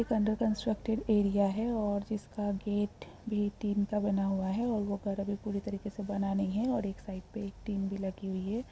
एक under constructed area है और जिसका गेट भी टिन का बना हुआ है और वो घर अभी पूरी तरीके से बना नहीं है और एक साइड पे एक टिन भी लगी हुई है।